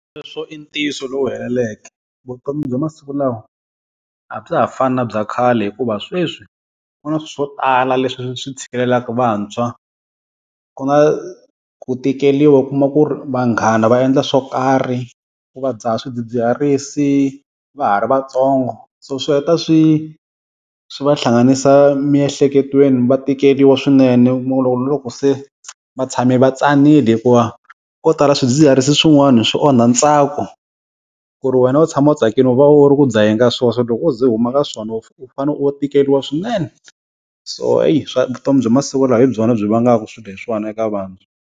Sweswo i ntiyiso lowu heleleke. Vutomi bya masiku lawa a bya ha fani na bya khale hikuva sweswi ku na swo tala leswi swi tshikeleleka vantshwa, ku na ku tikeriwa u kuma ku ri vanghana va endla swo karhi ku va dzaha swidzidziharisi va ha ri vatsongo. So swi heta swi swi va hlanganisa miehleketweni va tikeriwa swinene. Mi kuma loko na loko se vatshami va tsanile hikuva ko tala swidzidziharisi swin'wana swi onha ntsako, ku ri wena u tshama u tsakile u va u ri ku dzaheni ka swona, loko o ze u huma ka swona u fanele u tikeriwa swinene. So eyi swa vutomi bya masiku lawa hi byona byi vangaka swileswiwani eka vana.